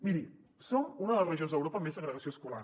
miri som una de les regions d’europa amb més segregació escolar